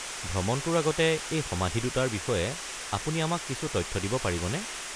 ভ্ৰমণটোৰ আগতে এই সমাধি দুটাৰ বিষয়ে আপুনি আমাক কিছু তথ্য দিব পাৰিবনে?